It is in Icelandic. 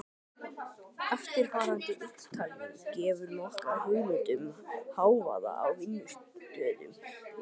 Eftirfarandi upptalning gefur nokkra hugmynd um hávaða á vinnustöðum í